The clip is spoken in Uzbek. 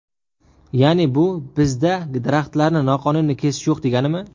Ya’ni bu, bizda daraxtlarni noqonuniy kesishlar yo‘q, deganimi?